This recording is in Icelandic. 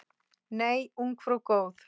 Nei, ungfrú góð!